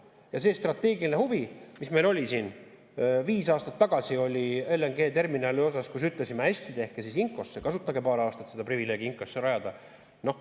Meil oli strateegiline huvi siin viis aastat tagasi LNG-terminali vastu, me ütlesime, hästi, tehke Inkoosse, kasutage paar aastat seda privileegi Inkoosse rajada.